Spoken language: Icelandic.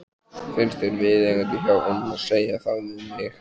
Finnst þér viðeigandi hjá honum að segja það við mig?